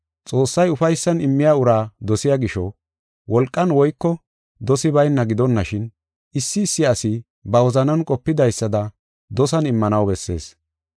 Xoossay ufaysan immiya uraa dosiya gisho, wolqan woyko dosi bayna gidonashin, issi issi asi ba wozanan qopidaysada dosan immanaw bessees.